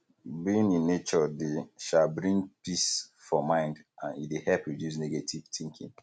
being in nature dey um bring peace for mind and e de help reduce negative thinking